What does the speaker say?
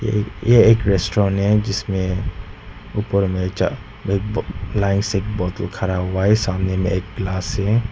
यह एक रेस्टोरेंट है। जिसमें ऊपर में च लाइन से बोतल खड़ा हुआ है। सामने में एक गिलास है।